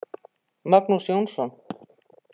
Magnús Jónsson